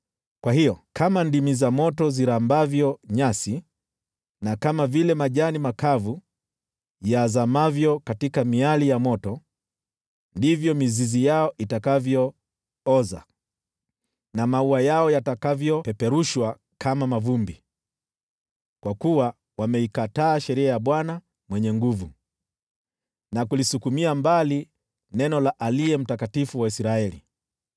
Kwa hiyo, kama ndimi za moto zirambavyo nyasi, na kama vile majani makavu yazamavyo katika miali ya moto, ndivyo mizizi yao itakavyooza na maua yao yatakavyopeperushwa kama mavumbi; kwa kuwa wameikataa sheria ya Bwana Mwenye Nguvu Zote na kulisukumia mbali neno la Aliye Mtakatifu wa Israeli.